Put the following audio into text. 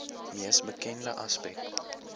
mees bekende aspek